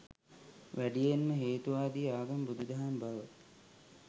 වැඩියෙන්ම හේතුවාදී ආගම බුදු දහම බව